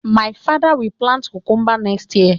My father will plant cucumbers next year